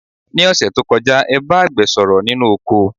Ní òṣẹ̀ tó kọjá, ẹ bá àgbẹ̀ sọ̀rọ̀ nínú oko.